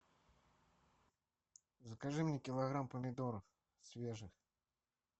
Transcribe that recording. закажи мне килограмм помидоров свежих